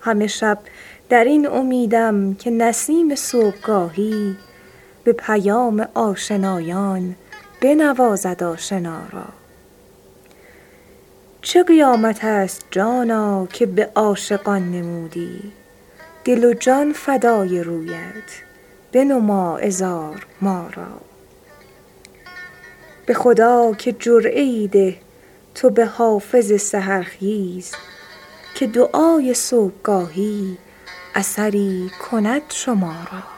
همه شب در این امیدم که نسیم صبحگاهی به پیام آشنایان بنوازد آشنا را چه قیامت است جانا که به عاشقان نمودی دل و جان فدای رویت بنما عذار ما را به خدا که جرعه ای ده تو به حافظ سحرخیز که دعای صبحگاهی اثری کند شما را